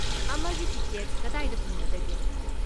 ꯑꯃꯒꯤ ꯇꯤꯀꯦꯠ ꯀꯗꯥꯏꯗ ꯐꯪꯒꯗꯒꯦ?